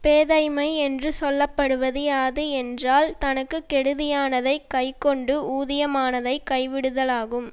பேதைமை என்று சொல்ல படுவது யாது என்றால் தனக்கு கெடுதியானதைக் கை கொண்டு ஊதியமானதை கைவிடுதலாகும்